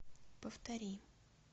повтори